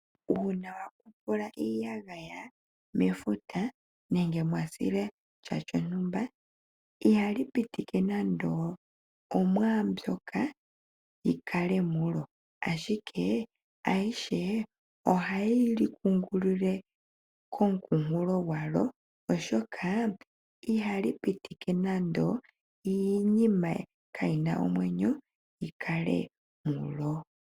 Uuna we ekelehi sha mefuta nenge mwasile shaa iha li pitike nande osha shomwaa mbyoka shi kale momeya. Ayihe mbika ohayi umbilwa kooha dhefuta, oshoka ihal i pitike nando iinima ka yi na omwenyo yi kale mulyo.